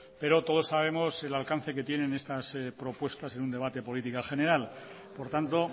pero todos sabemos el alcance que tienen estas propuestas en un debate de política general por tanto